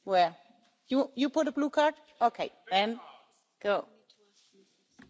I just think it is really interesting when I hear statements like the one that you have made.